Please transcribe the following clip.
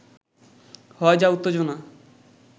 হয় যা উত্তেজনা